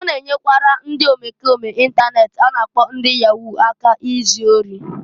O na-enyekwara ndị omekome intanet a na-akpọ ndị Yahoo aka izu ori.